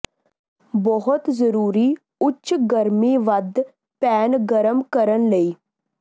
ਬਹੁਤ ਜ਼ਰੂਰੀ ਉੱਚ ਗਰਮੀ ਵੱਧ ਪੈਨ ਗਰਮ ਕਰਨ ਲਈ